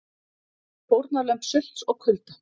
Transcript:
Fórnarlömb sults og kulda?